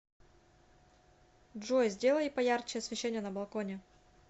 джой сделай поярче освещение на балконе